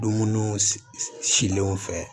Dumuniw silenw fɛ